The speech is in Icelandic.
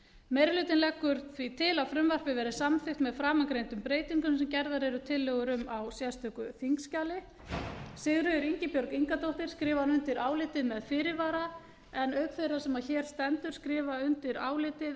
meiri hlutinn leggur til að frumvarpið verði samþykkt með framangreindum breytingum sem gerðar eru tillögur um í sérstöku þingskjali sigríður ingibjörg ingadóttir skrifar undir álitið með fyrirvara auk þeirrar sem hér stendur skrifa undir álitið